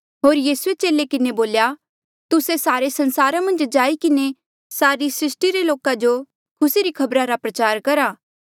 होर यीसूए चेले किन्हें बोल्या तुस्से सारे संसारा मन्झ जाई किन्हें सारी सृस्टी रे लोका जो खुसी री खबर प्रचार करा